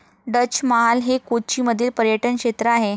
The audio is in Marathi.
डच महाल हे कोची मधील पर्यटन क्षेत्र आहे.